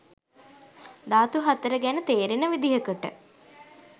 ධාතු හතර ගැන තේරෙන විදිහකට